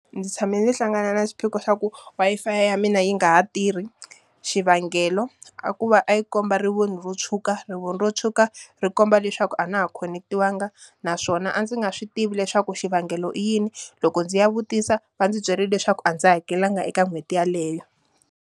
Ndzi tshame ni hlangana na xiphiqo xa ku Wi-Fi ya mina yi nga ha tirhi. Xivangelo a ku va a yi komba rivoni ro tshuka, rivoni ro tshuka ri komba leswaku a na ha khonetiwanga naswona a ndzi nga swi tivi leswaku xivangelo i yini. Loko ndzi ya vutisa va ndzi byerile leswaku a ndzi hakelanga eka n'hweti yeleyo.